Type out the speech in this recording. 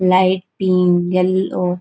light pink yellow --